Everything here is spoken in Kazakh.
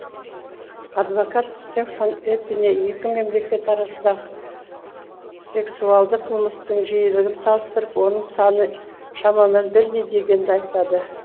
адвокат стефан эпине екі мемлекет арасындағы сексуалды қылмыстың жиілігін салыстырып оның саны шамамен бірдей дегенді айтады